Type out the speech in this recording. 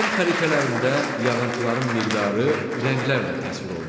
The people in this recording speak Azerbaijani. İqlim xəritələrində yağıntıların miqdarı rənglərlə təsvir olunur.